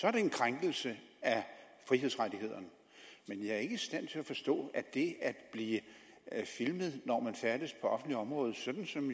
er det en krænkelse af frihedsrettighederne men jeg er ikke i stand til at forstå at det at blive filmet når man færdes på et offentligt område sådan som